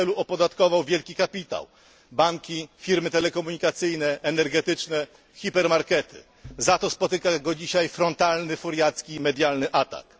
W tym celu opodatkował wielki kapitał banki, firmy telekomunikacyjne, energetyczne, hipermarkety. Za to spotyka go dzisiaj frontalny furiacki medialny atak.